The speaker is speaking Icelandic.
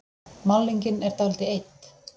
Málningin er dálítið eydd.